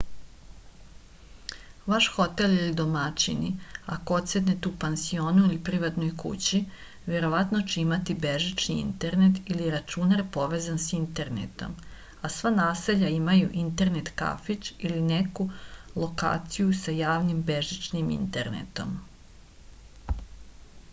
ваш хотел или домаћини ако одседате у пансиону или приватној кући вероватно ће имати бежични интернет или рачунар повезан са интернетом а сва насеља имају интернет кафић или неку локацију са јавним бежичним интернетом